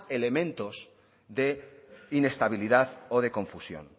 elementos de inestabilidad o de confusión